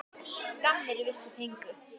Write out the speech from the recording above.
Skammir vissir fengu.